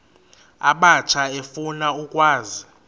abatsha efuna ukwazi